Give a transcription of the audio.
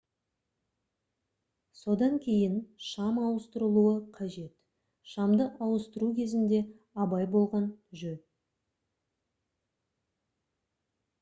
содан кейін шам ауыстырылуы қажет шамды ауыстыру кезінде абай болған жөн